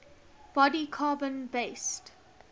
body carbon based